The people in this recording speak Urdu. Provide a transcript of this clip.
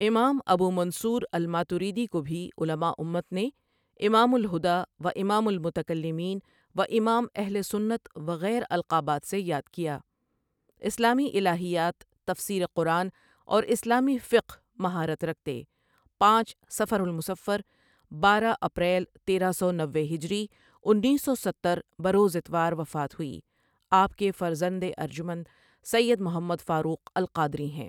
امام أبو منصور الماتريدي کوبهی علما امت نے امام الہدی و امام المتکلمین و امام اہل سنت وغیر القابات سے یاد کیا ،اسلامی الہیات، تفسیر قرآن اور اسلامی فقہ مہارت رکھتے پانچ ؍صفر المصفر، بارہ ؍اپریل تیرہ سو نوے ہجری ؍انیس سو ستر بروز اتوار وفات ہوئی آپ کے فرزند اجمند سید محمد فاروق القادری ہیں۔